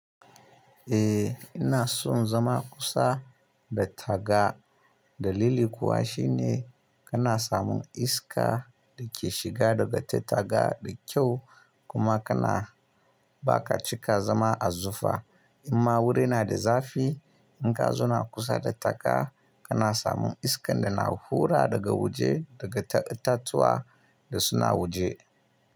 Eh ina son zama kusa da taga. Dalili kuwa shine kana samun iska da ke shiga daga ta taga da kyau kuma kana ba ka cika zama a zufa. Amma wuri na da zafi in ka zo na kusa da taga, kana samun iskan da na hura daga waje daga itatuwa da suna waje.